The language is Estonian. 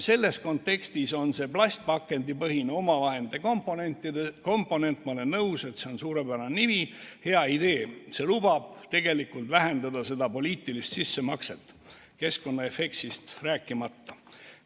Selles kontekstis on see plastpakendipõhine omavahendite komponent – ma olen nõus, et see on suurepärane nimi – hea idee, see lubab tegelikult vähendada seda poliitilist sissemakset, keskkonnaefektist rääkimata.